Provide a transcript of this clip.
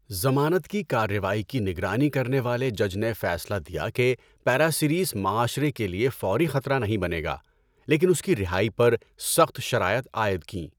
ضمانت کی کارروائی کی نگرانی کرنے والے جج نے فیصلہ دیا کہ پاراسیریس معاشرے کے لیے فوری خطرہ نہیں بنے گا، لیکن اس کی رہائی پر سخت شرائط عائد کیں۔